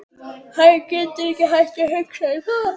Hann getur ekki hætt að hugsa um það.